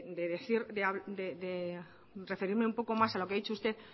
de referirme un poco más a lo que ha dicho usted